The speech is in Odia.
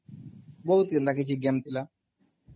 ବହୁତ inaudble କିଛି game ଥିଲା